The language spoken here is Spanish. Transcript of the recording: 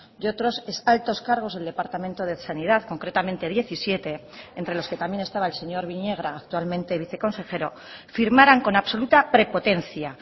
y otros ex altos cargos del departamento de sanidad concretamente diecisiete entre los que también estaba el señor viñegra actualmente viceconsejero firmaran con absoluta prepotencia